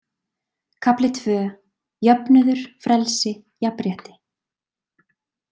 Kafli II: Jöfnuður Frelsi, jafnrétti.